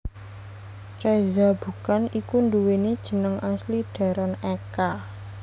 Reza Bukan iku nduweni jeneng asli Deron Eka